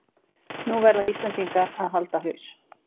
Nú verða Íslendingar að halda haus